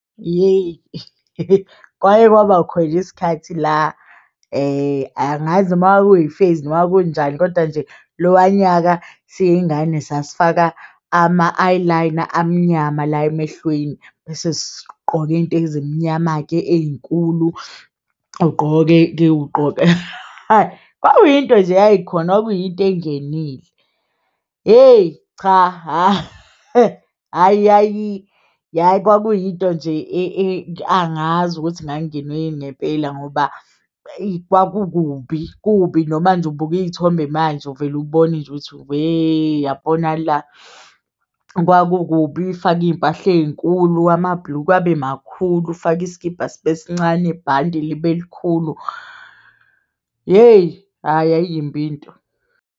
Hheyi, kwake kwaba khona isikhathi la angazi noma kwakwi phase noma kanjani, koda nje lowa nyaka siyingane sasifaka ama-eyeliner amnyama la emehlweni, bese sigqoke intezimnyama-ke eyinkulu ugqoke-ke ugqoke. Kwakuyinto nje eyayikhona kwakuyinto engenile hheyi cha, hhayi yayi kwakuyinto nje angazi ukuthi ngangingenwe yini ngempela ngoba kwakubi kubi. Noma nje ubuki iyithombe manje uvele ubone nje ukuthi weee yabona la kwakukubi ufake iyimpahla eyinkulu amabhulukwe abe makhulu ufake iskibha sibe sincane ibhande libe likhulu, yeyi hhayi yayiyimbi into.